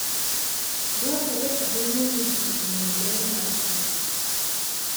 Dwarore ahinya ni ji ong'e ber mar kich